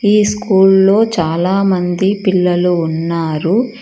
ఈ స్కూల్లో చాలా మంది పిల్లలు ఉన్నారు